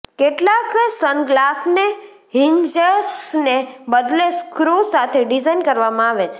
કેટલાક સનગ્લાસને હિન્જસને બદલે સ્ક્રૂ સાથે ડિઝાઇન કરવામાં આવે છે